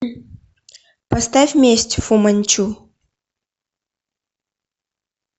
поставь месть фу манчу